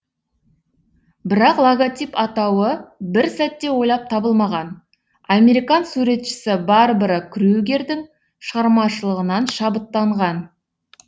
бірақ логотип атауы бір сәтте ойлап табылмаған американ суретшісі барбара крюгердің шығармашылығынан шабыттанған